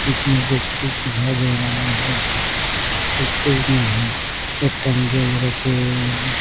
इसमें कुछ-कुछ दिखाई दे रहा है कुछ कुछ नहीं एक टंकी भी रखी हुई है।